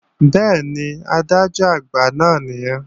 Bẹ́ẹ̀ni, Adájọ́-Àgbà náà nìyẹn